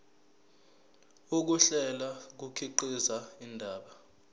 ukuhlela kukhiqiza indaba